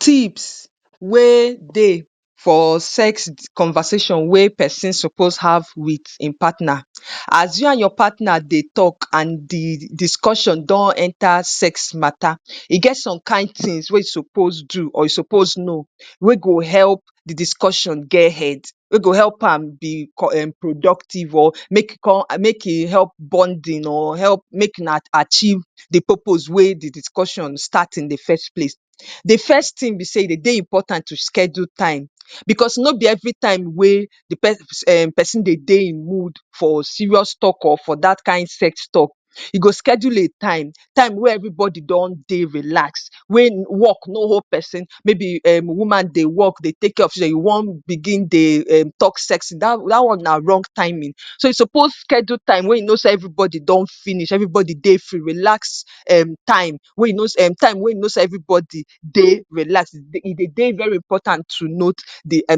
Tips wey dey for sex conversation wey pesin suppose have with im partner. As you and your partner dey tok and di discussion don enta sex ma?ta?, e get some kain tins wey you suppose do or you suppose know wey go epp di discussion get head, wey go epp am be um productive, or make e epp bonding or epp make una achieve di purpose wey di discussion start in di first place. Di first tin be sey e de?y de?y important to schedule time, because no be everytime wey di pesin um pesin de?y de?y in mood for serious tok or for dat kain sex tok. You go schedule a time, time wey everybody don dey relax, wey work no hold pesin. Maybe um woman dey work, dey take care of children, you wan begin dey um tok sex. Dat dat one na wrong timing. So, you suppose schedule time wey you know sey everybody don finish, everybody dey free, relax um time, um time wey you know sey everybody dey relax. E de?y de?y very important to note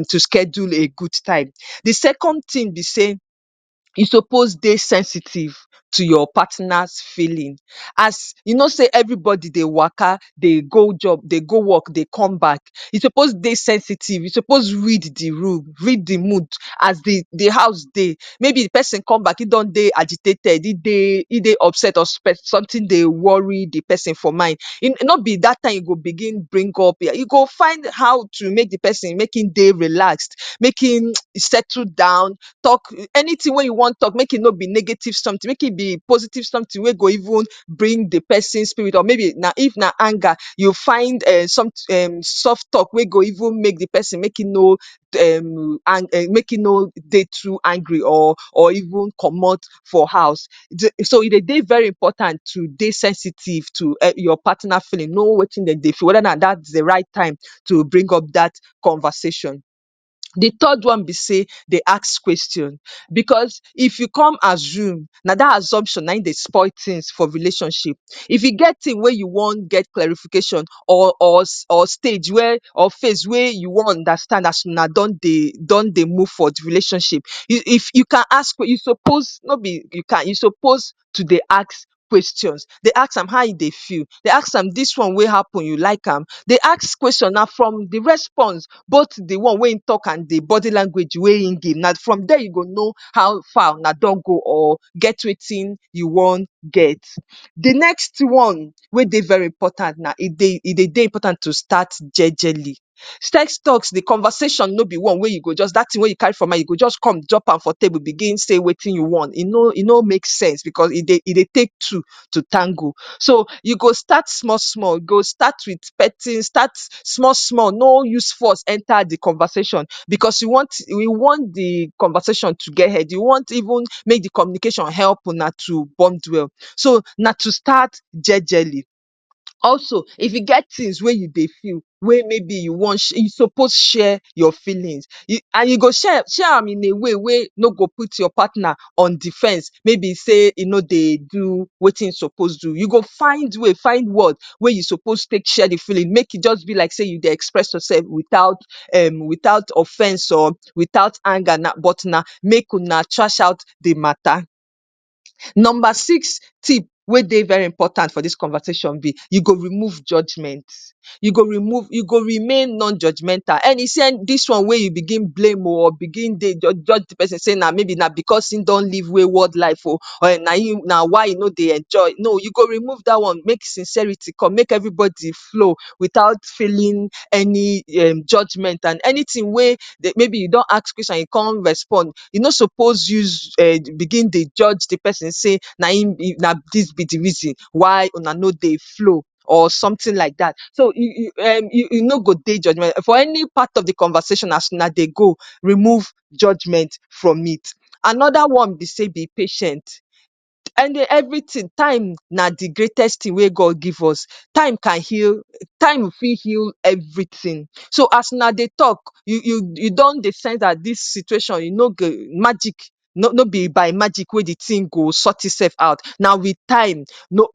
to schedule a good time. Di second tin be sey you suppose dey sensitive to your partner’s feeling. As you know sey everybody dey waka, dey go job, dey go work, dey come back, you suppose dey sensitive, you suppose read di room, read di mood as di di house dey. Maybe di pesin come back, im don dey agitated, e dey e dey upset or sometin dey worry di pesin for mind. no be dat time you go begin bring up um, you go how to make di pesin make im dey relax, make im um settle down. Anytin wey you wan tok, make e no be negative sometin, make e be positive sometin wey go even bring di pesin spirit up. Or if na anger, you find um soft tok wey go even make di pesin make im no um make im no dey too angry or or even comot for house. So, e de?y de?y very important to dey sensitive to um your partner’s feeling. Know wetin de dey feel, weda na di right time to bring up dat conversation. Di third one be sey, dey ask kweshon, because if you come assume, na dat assumption na im dey spoil tins for relationship. If you get tins wey you wan get clarification or or or stage where or phase wey you wan understand as you una don dey don dey move for di relationship. If if you can ask you suppose, no be you can, you suppose to dey ask kweshons. Dey ask am how e dey feel. Dey ask am “dis one wey happen, you like am?” Dey ask kweshons. Na from di response both di one wey im tok and di body language wey im give, na from there you go know how far una don go, or get wetin you wan get. Di next one wey dey very important na e de?y de?y important to start jejely. Sex toks, di conversations no be one wey you go just, dat tin wey you carry for mind, you go just come drop am for table begin say wetin you want. E no e no make sense because e dey dey take two to tango. You go start small small. You go start with petting. Start small small. No use force enta di conversation, because you want you want di conversation to get head. You want even make di communication epp una to bond well. So, na to start jejely. Also, if e get tins wey you dey feel wey maybe you wan you suppose share your feelings and you go share share am in a way wey no go put your partner on defense wey be sey e no dey do wetin im suppose do. You find way, find word wey you suppose take share di feeling, make e just be like sey you dey express yoursef without um without offence or without anger, but na make una trash out di ma?ta?. Number six tip wey dey very important for dis conversation be, you go remove judgement. You go remove you go remain non judgemental. Any dis one wey you begin blame oh, or you begin dey judge judge di pesin, maybe na because im don live wayward life oh, or na im na why e no dey enjoy. You go remove dat one make sincerity come, make everybody flow, without feeling any um judgement. And anytin wey maybe you don ask kweshon and e con respond, you no suppose use um begin dey judge di pesin say na im be di reason why una no dey flow, or sometin laidat. So, you you no go dey judgemental for any part of di conversation as una dey go, remove judgement from it. Anoda one be sey, be patient. Any everytin, time na dis greatest tin wey God give us. Time can heal, time fit heal everytin. So, as una dey tok, you you don dey sense dat dis tin, dis situation e no magic, no be by magic wey di tin go sort imsef out. Na with time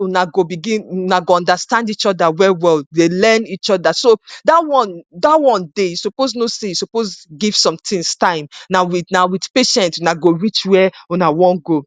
una go begin, una go understand each other well well, dey learn each other. So, dat one dat one dey. You suppose know sey you suppose give sometins time. Na with na with patience una go reach where una go una wan go.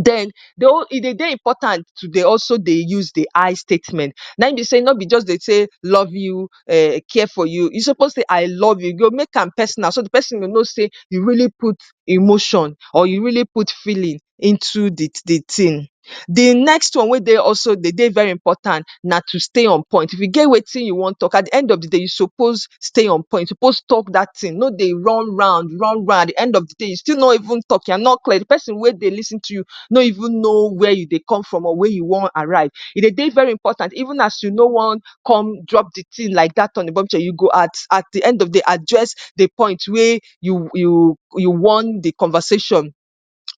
Den e de?y de?y important to dey also dey use di “I” statement. Na im be sey no be just dey say “love you”, “care for you.” You suppose say “I love you.” You go make am personal so di pesin go know sey you really put emotion or you really put feeling into di di tin. Di next one wey also de?y de?y very important na to stay on point. If you get wetin you wan tok, at di end of di day, you suppose stay on point. You suppose tok dat tin. No dey run round, run round. At di end of di day, you still no even tok. You are not clear. Di pesin wey dey lis ten to you no know where you dey come from or where you wan arrive. E dey de?y de?y very important even as you no wan come drop di tin like dat on a bombshell, you go at at di end of di day address di point wey you you wan di conversation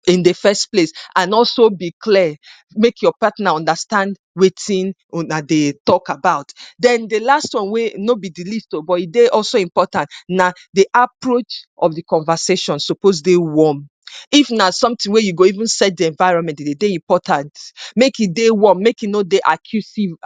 in di first place. And also be clear, make your partner understand wetin una dey tok about. Den, di last one wey no be di least oh, but e dey also important na di approach of di conversation suppose dey warm. If na sometin wey you go even set di environment de de?y de?y important, make e dey warm, make e no dey accusing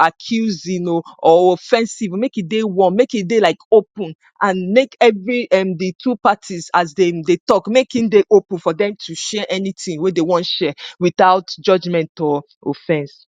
oh, or offensive, make e dey warm, make e dey like open and make every um everytin as dem dey tok, make e dey open for dem to share anytin wey dey wan share without judgement or offense.